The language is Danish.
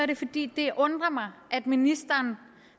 det fordi det undrer mig at ministeren